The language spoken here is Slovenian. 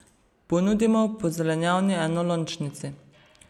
Ponudimo po zelenjavni enolončnici.